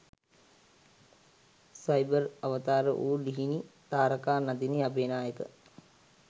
cyber අවතාර වූ ලිහිනි තාරකා නදිනි අබේනායක